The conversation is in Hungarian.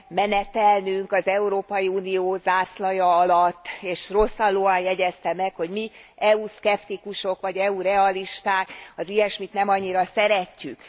menetelnünk az Európai Unió zászlaja alatt, és rosszallóan jegyezte meg, hogy mi, EU szkeptikusok, vagy EU realisták az ilyesmit nem annyira szeretjük.